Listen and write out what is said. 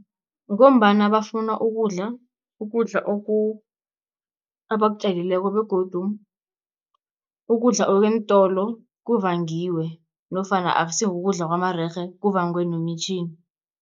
Ngombana bafuna ukudla, ukudla abakutjalileko begodu ukudla okweentolo kuvangiwe nofana akusi kukudla kwamarerhe kuvangwe nomitjhini.